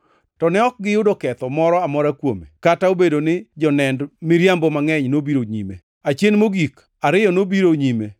To ne ok giyudo ketho moro amora kuome, kata obedo ni jonend miriambo mangʼeny nobiro nyime. Achien mogik, ariyo nobiro nyime,